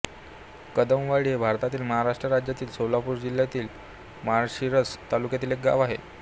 कदमवाडी हे भारतातील महाराष्ट्र राज्यातील सोलापूर जिल्ह्यातील माळशिरस तालुक्यातील एक गाव आहे